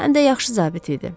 Həm də yaxşı zabit idi.